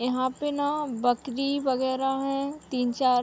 यहाँ पे ना बकरी वगेरा हैं। तीन-चार --